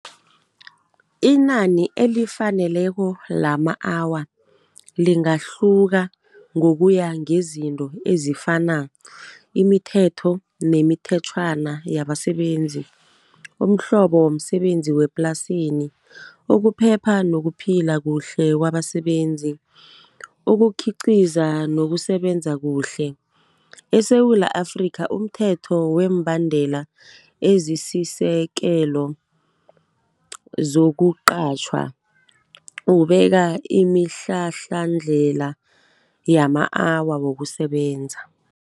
Inani elifaneleko lama-hour lingahluka ngokuya ngezinto ezifana, imithetho nemithetjhwana yabasebenzi, umhlobo womsebenzi wemaplasini, ukuphepha nokuphila kuhle kwabasebenzi, ukukhiqiza nokusebenza kuhle. ESewula Afrika umthetho kweembandela ezisisekelo zokuqatjhwa ubeka imihlahlandlela yama-hour wokusebenza.